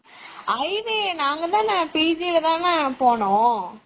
IV நாங்க தான pg ல தான போனோம்.